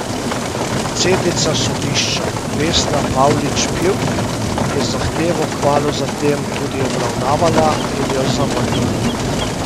Predsednica sodišča Vesna Pavlič Pivk je zahtevo kmalu zatem tudi obravnavala in jo zavrgla.